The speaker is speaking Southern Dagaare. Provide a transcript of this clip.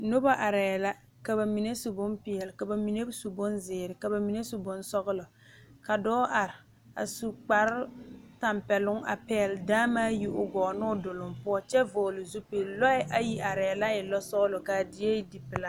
Noba are la ka bamine su bonpeɛle, ka bamine su bonziiri, ka bamine su bonsɔglɔ ka dɔɔ kaŋ are a su kpare tanpɛloŋ a pegle daamaa yi o gɔɔ ne o duloŋ kyɛ vɔgle zupele lɔɛ ayi are la e lɔ sɔglɔ kaa die e die pelaa.